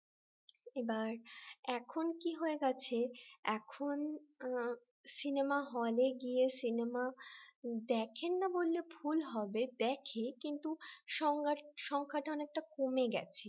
এবার এখন কি হয়ে গেছে এখন সিনেমা হলে গিয়ে সিনেমা দেখেন না বললে ভুল হবে দেখে কিন্তু সংজ্ঞাটা সংখ্যাটা অনেকটা কমে গেছে